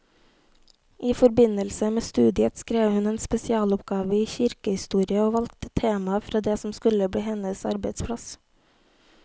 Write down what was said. I forbindelse med studiet skrev hun en spesialoppgave i kirkehistorie og valgte temaet fra det som skulle bli hennes arbeidsplass.